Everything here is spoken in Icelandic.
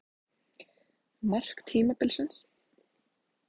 Mark tímabilsins?